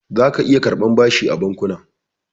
Zaka iya karɓar bashi a bankuna.